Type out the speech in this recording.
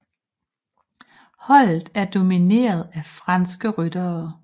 Holdet er domineret af franske ryttere